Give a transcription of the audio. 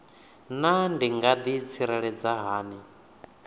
naa ndi nga ḓitsireledza hani